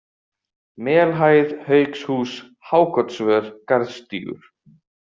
Melhæð, Haukshús, Hákotsvör, Garðstígur